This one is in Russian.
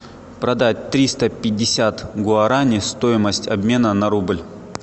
продать триста пятьдесят гуараней стоимость обмена на рубль